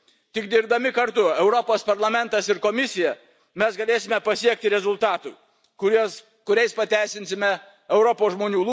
Tik dirbdami kartu Europos Parlamentas ir Komisija, mes galėsime pasiekti rezultatų, kuriais pateisinsime Europos žmonių lūkesčius ir galėsime jaustis teisingai tarnavę Europos žmonėms.